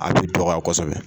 A tɛ dɔgɔya kosɛbɛ.